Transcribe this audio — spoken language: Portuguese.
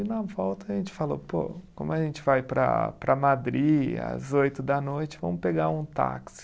E na volta, a gente falou pô, como a gente vai para para Madri às oito da noite, vamos pegar um táxi.